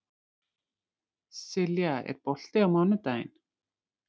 Silja, er bolti á mánudaginn?